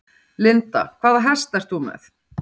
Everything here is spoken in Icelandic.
Linda: Hvaða hest ert þú með?